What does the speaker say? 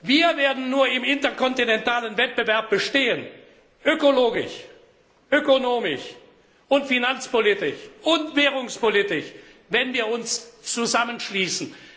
Wir werden nur im interkontinentalen Wettbewerb bestehen ökologisch, ökonomisch, finanzpolitisch und währungspolitisch wenn wir uns zusammenschließen.